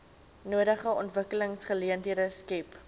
nodige ontwikkelingsgeleenthede skep